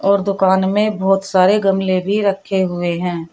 और दुकान में बहुत सारे गमले भी रखे हुए हैं।